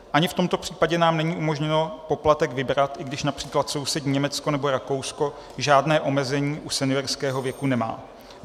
Ani v tomto případě nám není umožněno poplatek vybrat, i když například sousední Německo nebo Rakousko žádné omezení u seniorského věku nemá.